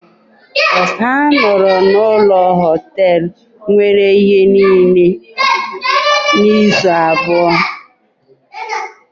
Ha nọrọ n’ụlọ Họtelu nwere ihe niile izu abụọ.